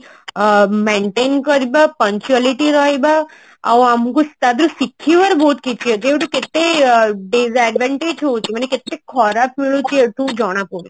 ଅ maintain କରିବା punctuality ରହିବା ଆଉ ଆମକୁ ତା ଦିହରୁ ଶିଖିବାର ବହୁତ କିଛି ଅଛି ଯୋଉଠୁ କେତେ disadvantage ହଉଛି ମାନେ କେତେ ଖରାପ ହଉଛି ଏଠୁ ଜଣା ପଡୁଛି